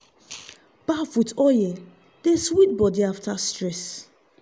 bath with oil dey sweet body after stress.